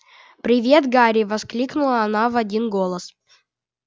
привет гарри воскликнула она в один голос